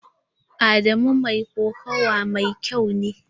Adamu mai kokawa mai kyau ne.